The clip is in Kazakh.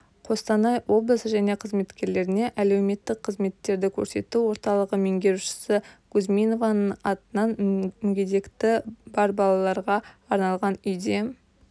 қостанай облысы және қызметкерлеріне әлеуметтік қызметтерді көрсету орталығы меңгерушісі кузьминованың атынан мүгедектігі бар балаларға арналған үйде